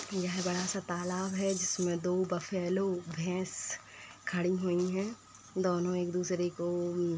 यह बड़ा सा तालाब है जिसमें दो बफैलो भैंस खड़ी हुई हैं। दोनों एक-दूसरे को अम --